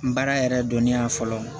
N baara yɛrɛ dɔnniya fɔlɔ